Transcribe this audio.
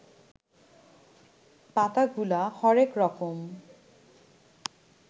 পাতাগুলা হরেক রকম